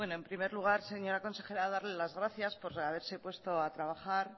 bueno en primer lugar señora consejera darle las gracias por haberse puesto a trabajar